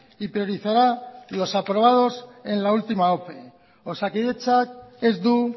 y priorizará los aprobados en la última ope osakidetzak ez du